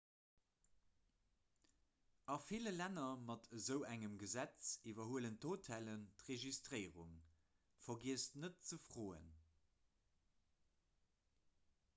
a ville länner mat esou engem gesetz iwwerhuelen d'hotellen d'registréierung vergiesst net ze froen